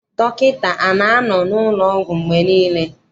Dọkịta ana-anọ n'ụlọọgwụ mgbe niile?